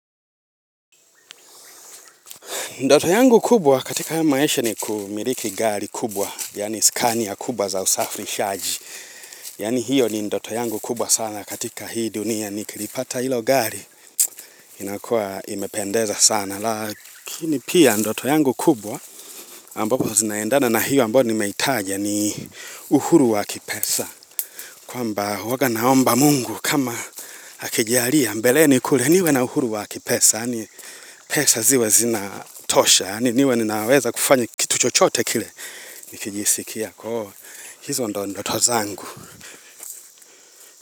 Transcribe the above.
Ndoto yangu kubwa katika ya maisha ni kumiliki gari kubwa, yani scania kubwa za usafri shaji, yani hiyo ni ndoto yangu kubwa sana katika hii dunia ni kilipata hilo gari, inakua imependeza sana, lakini pia ndoto yangu kubwa ambapo zinaendana na hiyo ambayo ni meitaja ni uhuru wa kipesa. Kwa mba huaga naomba Mungu kama akijalia mbeleni kule niwe na uhuru wa kipesa pesa ziwe zinatosha niwe ninaweza kufanya kituchochote kile nikijisikia kuwa hizondo ndo tozangu.